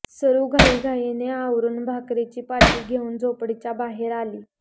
सरू घाईघाईने आवरून भाकरींची पाटी घेऊन झोपडीच्या बाहेर आली